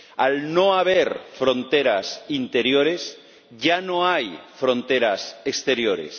Al no haber fronteras interiores, ya no hay fronteras exteriores.